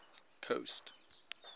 coast